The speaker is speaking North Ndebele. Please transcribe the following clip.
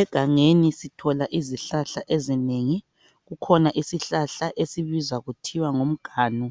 Egangeni sithola izihlahla ezinengi. Kukhona isihlahla esibizwa kuthiwa nguMganu